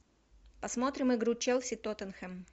посмотрим игру челси тоттенхэм